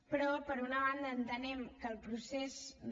però per una banda entenem que el procés no